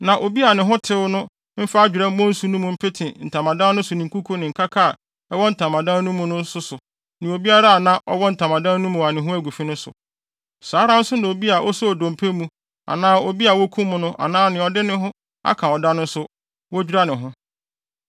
Na obi a ne ho tew no mfa adwerɛ mmɔ nsu no mu mpete ntamadan no so ne nkuku ne nkaka a ɛwɔ ntamadan no mu no nso so ne obiara a na ɔwɔ ntamadan no mu a ne ho agu fi no so. Saa ara nso na obi a osoo dompe mu anaa obi a wokum no anaa nea ɔde ne ho aka ɔda no nso, wodwira ne ho.